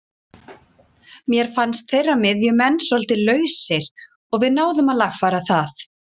Mér fannst þeirra miðjumenn svolítið lausir og við náðum að lagfæra það.